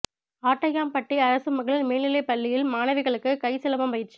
ஆட்டையாம்பட்டி அரசு மகளிா் மேல்நிலைப் பள்ளியில் மாணவிகளுக்கு கை சிலம்பம் பயிற்சி